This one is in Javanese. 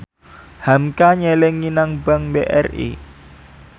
hamka nyelengi nang bank BRI